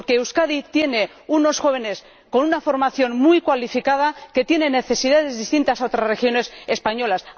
Porque Euskadi tiene unos jóvenes con una formación muy cualificada y tiene necesidades distintas a otras regiones españolas.